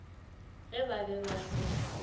ge ba be ba sa